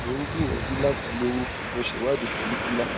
mo ń gbìyànjú láti lóyún mo ṣe ìwádìí ti follicular